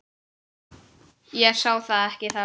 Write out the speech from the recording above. Ég sá það ekki þá.